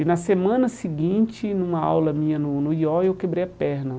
E na semana seguinte, numa aula minha no no i ó, eu quebrei a perna.